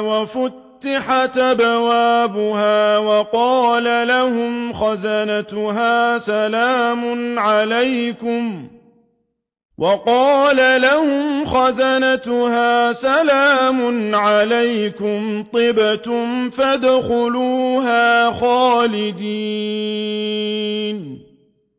وَفُتِحَتْ أَبْوَابُهَا وَقَالَ لَهُمْ خَزَنَتُهَا سَلَامٌ عَلَيْكُمْ طِبْتُمْ فَادْخُلُوهَا خَالِدِينَ